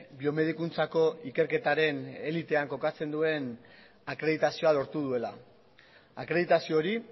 biomedikuntzako ikerketaren elitean kokatzen duen akreditazioa lortu duela akreditazio hori